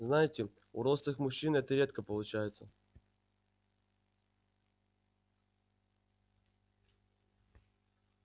знаете у рослых мужчин это редко получается